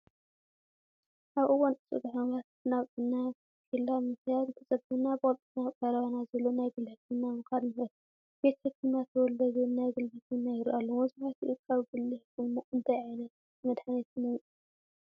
ኣብ እዋን ቅፅበታዊ ሕማማት ናብ ጥዕና ኬላ ምኽያድ እንተፀጊሙና ብቑልጡፍ ናብ ቀረባና ዘሎ ናይ ግሊ ሕክምና ምኻድ ንኽእል፡፡ ቤት ሕክምና ተወልደ ዝብል ናይ ግሊ ሕክምና ይረአ ኣሎ፡፡ መብዛሕትኡ ካብ ግሊ ሕክምና እንታይ ዓይነት መድሓኒት ነምፅእ?